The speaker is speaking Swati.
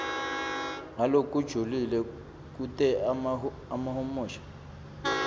ngalokujulile kute ahumushe